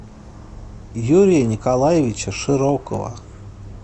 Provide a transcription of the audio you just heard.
юрия николаевича широкова